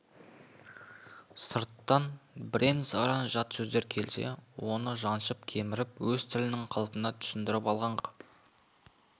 сырттан бірен-саран жат сөздер келсе оны жаншып кеміріп өз тілінің қалпына түсіріп алған қазақ